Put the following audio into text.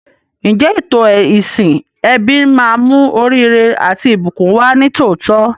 Ǹjẹ́ ètò ìsìn ẹbí máa mú oríire àti ìbùkún wá ní tòótọ́?